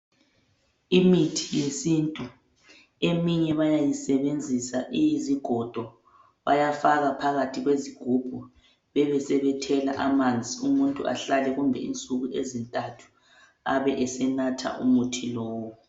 Imithi yesiNtu eminye bayayisebenzisa iyizigodo bayafaka phakathi kwezigubhu bebesebethela amanzi umuntu ahlala insuku ezintathu abesenatha umuthi lowu.